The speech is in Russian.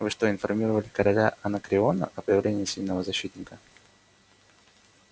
вы что информировали короля анакреона о появлении сильного защитника